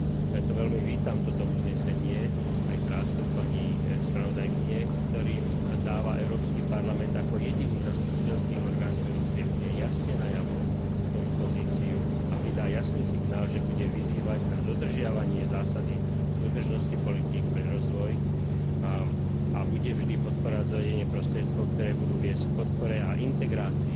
Preto veľmi vítam toto uznesenie aj prácu pani spravodajkyne, ktorým dáva Európsky parlament ako jediný zastupiteľský orgán v Európskej únii jasne najavo svoju pozíciu a vydá jasný signál, že bude vyzývať na dodržiavanie zásady súdržnosti politík pre rozvoj a bude vždy podporovať zavedenie prostriedkov, ktoré budú viesť k podpore a integrácii